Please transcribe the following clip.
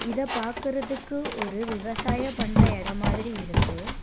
இத பாக்கறதுக்கு ஒரு விவசாய பண்ற எடோ மாதிரி இருக்கு.